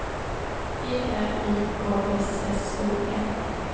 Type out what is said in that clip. E R I K S S O N